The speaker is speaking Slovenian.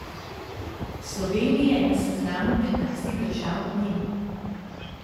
Slovenije na seznamu petnajstih držav ni.